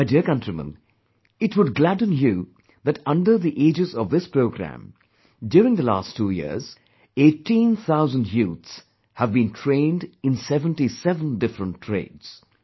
My dear countrymen, it would gladden you that under the aegis of this programme, during the last two years, eighteen thousand youths, have been trained in seventy seven different trades